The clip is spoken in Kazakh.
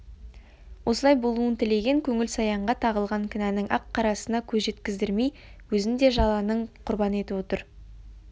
осылай болуын тілеген көңіл саянға тағылған кінәнің ақ қарасына көз жеткіздірмей өзін де жаланың құрбаны етіп отыр